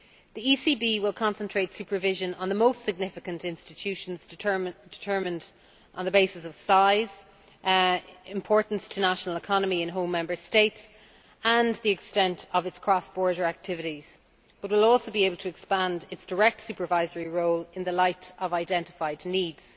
The ECB will concentrate supervision on the most significant institutions determined on the basis of size, importance to the national economy in home Member States, and the extent of its cross border activities but will also be able to expand its direct supervisory role in the light of identified needs.